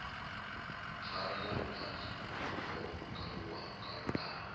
pfala na vhulapfu ho kalulaho